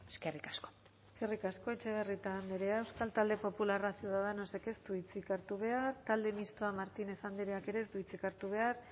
eskerrik asko eskerrik asko etxebarrieta andrea euskal talde popularra ciudadanosek ez du hitzik hartu behar talde mistoa martínez andreak ez du hitzik hartu behar